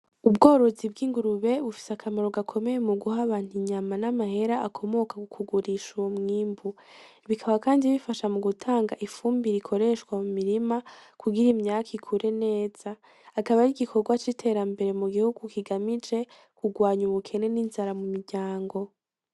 Ubworozi bw'ingurube bufise akamaro gakomeye muguha abantu inyama n'amahera akomoka mukugurisha uyomwimbu; Bikaba Kandi bifasha gutanga ifumbire ikoreshwa mu mirima kugira imyaka ikure neza. Akaba arigikogwa c'iterambere mu gihugu kigamije kugwanya ubukene n'inzara mu miryango.